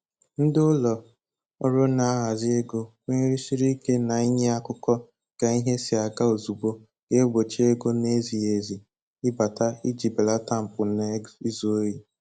Ndị Ụlọ ọrụ na-ahazi ego kwenyesiri ike na ínye akụkọ ka ihe si aga ozugbo ga-egbochi ego n'ezighị ezi ịbata iji belata mpụ na izu ohi